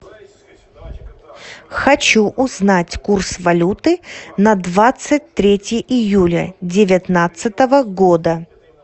хочу узнать курс валюты на двадцать третье июля девятнадцатого года